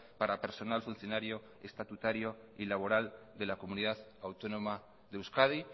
para personal funcionario estatutario y laboral de la comunidad autónoma de euskadi